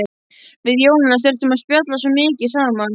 Við Jónas þurftum að spjalla svo mikið saman.